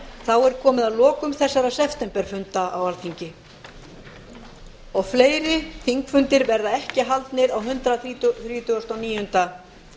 þá er komið að lokum þessara septemberfunda alþingis og fleiri þingfundir verða ekki haldnir á hundrað þrítugasta og níunda